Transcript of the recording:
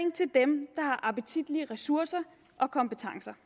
og appetitlige ressourcer og kompetencer